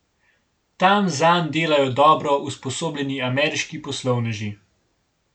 Tam zanj delajo dobro usposobljeni ameriški poslovneži.